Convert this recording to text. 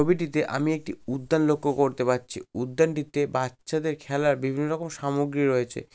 ছবিটিতে আমি একটি উদ্যান লক্ষ্য করতে পারছি উদ্যানটিতে বাচ্চাদের খেলার বিভিন্ন রকম সামগ্রী রয়েছে।